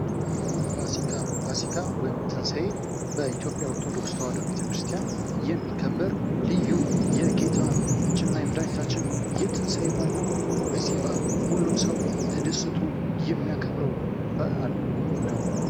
ፋሲካ፦ ፋሲካ ወይም ትንሳኤ በኢትዮጵያ ኦርቶዶክስ ቤተክርስቲያን የሚከበር ልዩ የጌታችንና የመድሐኒታችን የኢየሱስ ክርስቶስ ታላቅ በኣል ነው። በዚህ በአል ሁሉም ሰው ተደስቶ የሚያከብረው በአል ነዉ።